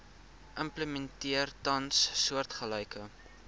implementeer tans soortgelyke